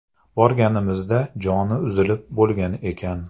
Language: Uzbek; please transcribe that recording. Borganimizda joni uzilib bo‘lgan ekan.